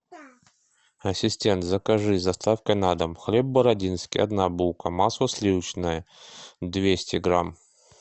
ассистент закажи с доставкой на дом хлеб бородинский одна булка масло сливочное двести грамм